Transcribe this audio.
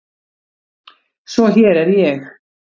Svo hér er ég.